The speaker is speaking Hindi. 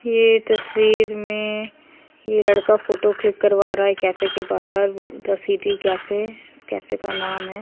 ये तस्वीर में ये लड़का फोटो क्लिक करवा रहा है कैफे के बाहर। द सिटी कैफे इस कैफे का नाम है।